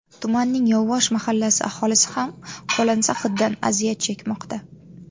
Tumanning Yovvosh mahallasi aholisi ham qo‘lansa hiddan aziyat chekmoqda.